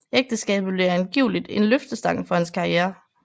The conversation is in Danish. Ægteskabet blev angiveligt en løftestang for hans karriere